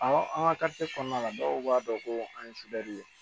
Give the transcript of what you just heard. an ka kɔnɔna la dɔw b'a dɔn ko an ye ye